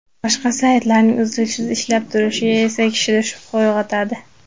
Boshqa saytlarning uzluksiz ishlab turishi esa kishida shubha uyg‘otadi.